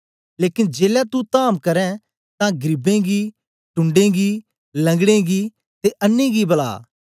लेकन जेलै तू धाम करें तां गरीबें गी ढून्डें गी लंगड़ें गी ते अन्नें गी बुला